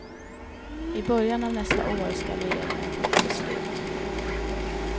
I början av nästa år ska regeringen fatta beslut.